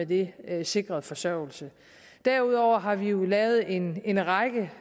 de er sikret forsørgelse derudover har vi jo taget en en række